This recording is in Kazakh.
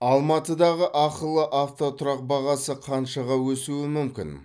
алматыдағы ақылы автотұрақ бағасы қаншаға өсуі мүмкін